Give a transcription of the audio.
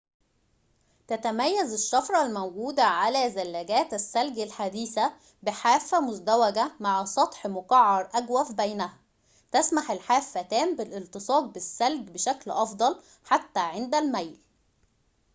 تتميز االشفرة الموجودة على زلاجات الثلج الحديثة بحافة مزدوجة مع سطح مقعر أجوف بينها تسمح الحافتان بالالتصاق بالثلج بشكل أفضل حتى عند الميل